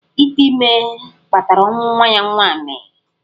Ítè ímé kpatara ọnwụ nwa ya nwaanyị.